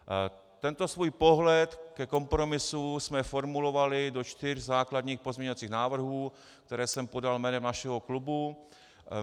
Tento svůj pohled ke kompromisu jsme formulovali do čtyř základních pozměňovacích návrhů, které jsem podal jménem našeho klubu.